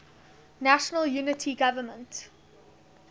national unity government